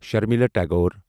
Sharmila Tagore